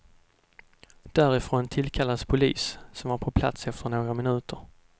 Därifrån tillkallades polis, som var på plats efter några minuter.